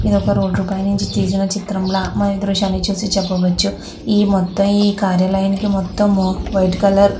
ఇది ఒక రోడ్డు పై నించి తీసిన చిత్రం లా మనం ఈ దృశ్యాన్ని చూసి చెప్పవచ్చు ఈ మొత్తం ఈ కార్యాలయానికి మొత్తము --